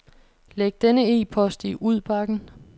Læg denne e-post i udbakken.